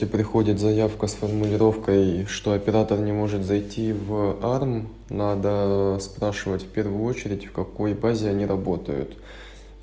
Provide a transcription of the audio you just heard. и приходит заявка с формулировкой что оператор не может зайти в арм надо спрашивать впервую очередь в какой базе они работают